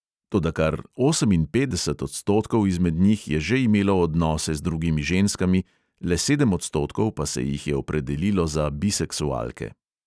Toda kar oseminpetdeset odstotkov izmed njih je že imelo odnose z drugimi ženskami, le sedem odstotkov pa se jih je opredelilo za biseksualke.